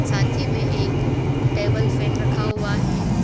साथ ही मे एक टेबल फैन रखा हुआ हैं।